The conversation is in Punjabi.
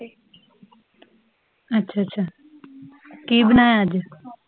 ਅੱਛਾ ਅੱਛਾ ਕਿ ਬਣਾਇਆ ਅੱਜ?